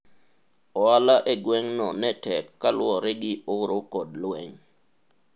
ohala e gweng' no ne tek kaluwore gi oro kod lweny